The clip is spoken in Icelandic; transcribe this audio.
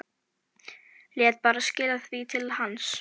Lét bara skila því til hans!